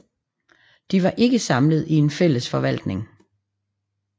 De var ikke samlet i en fælles forvaltning